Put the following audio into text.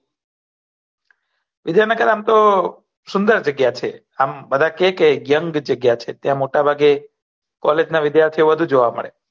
વિદ્યાનગર આમતો સુંદર જગ્યા છે આમ બધા કેહ કે યોઉંગ જગ્યા છે ત્યાં મોટા ભાગે કોલેગ ના વિધ્યાથીયો બધું જોયા મળે